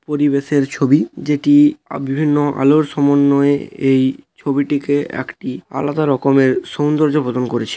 পরিবেশের ছবি। যেটি বিভিন্ন আলোর সমন্বয়ে এই ছবিটিকে একটি আলাদা রকমের সুন্দর্য প্রদান করেছে।